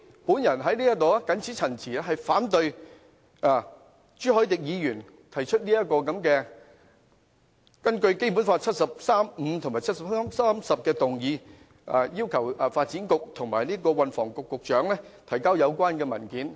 我謹此陳辭，反對朱凱廸議員根據《基本法》第七十三條第五項及第七十三條第十項提出要求發展局局長及運輸及房屋局局長出示相關文件的議案。